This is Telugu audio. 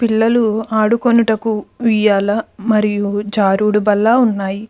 పిల్లలు ఆడుకొనుటకు ఉయ్యాల మరియు జారుడు బల్ల ఉన్నాయి.